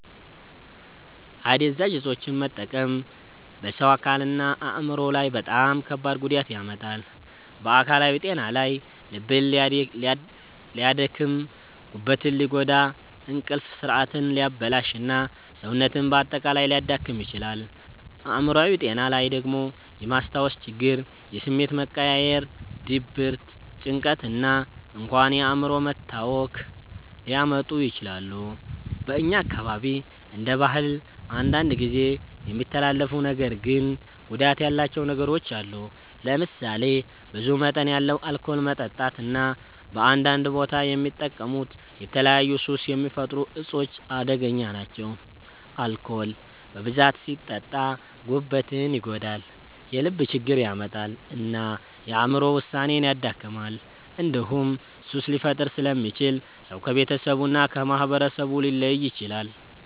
አደንዛዥ እፆችን መጠቀም በሰው አካልና አእምሮ ላይ በጣም ከባድ ጉዳት ያመጣል። በአካላዊ ጤና ላይ ልብን ሊያደክም፣ ጉበትን ሊጎዳ፣ እንቅልፍ ስርዓትን ሊያበላሽ እና ሰውነትን በአጠቃላይ ሊያዳክም ይችላል። አእምሮአዊ ጤና ላይ ደግሞ የማስታወስ ችግር፣ የስሜት መቀያየር፣ ድብርት፣ ጭንቀት እና እንኳን የአእምሮ መታወክ ሊያመጡ ይችላሉ። በእኛ አካባቢ እንደ ባህል አንዳንድ ጊዜ የሚተላለፉ ነገር ግን ጉዳት ያላቸው ነገሮች አሉ። ለምሳሌ ብዙ መጠን ያለው አልኮል መጠጣት እና በአንዳንድ ቦታ የሚጠቀሙት የተለያዩ ሱስ የሚፈጥሩ እፆች አደገኛ ናቸው። አልኮል በብዛት ሲጠጣ ጉበትን ይጎዳል፣ የልብ ችግር ያመጣል እና የአእምሮ ውሳኔን ያደክማል። እንዲሁም ሱስ ሊፈጥር ስለሚችል ሰው ከቤተሰቡ እና ከማህበረሰቡ ሊለይ ይችላል።